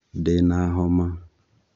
Ndina homa